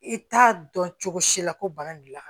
I t'a dɔn cogo si la ko bana gilan